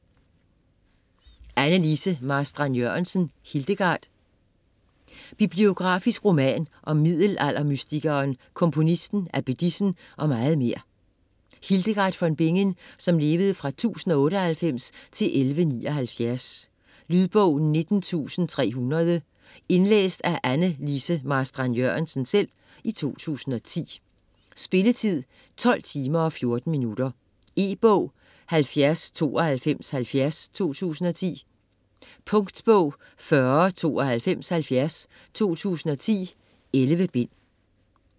Marstrand-Jørgensen, Anne Lise: Hildegard Biografisk roman om middelaldermystikeren, komponisten, abbedissen og meget mere, Hildegard von Bingen (1098-1179). Lydbog 19300 Indlæst af Anne Lise Marstrand-Jørgensen, 2010. Spilletid: 12 timer, 14 minutter. E-bog 709270 2010. Punktbog 409270 2010. 11 bind.